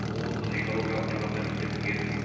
облыстық экологиялық департаменттен білгеніміз